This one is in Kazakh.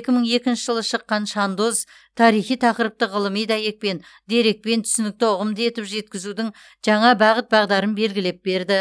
екі мың екінші жылы шыққан шандоз тарихи тақырыпты ғылыми дәйекпен дерекпен түсінікті ұғымды етіп жеткізудің жаңа бағыт бағдарын белгілеп берді